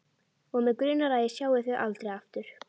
Og mig grunar að ég sjái þau aldrei aftur.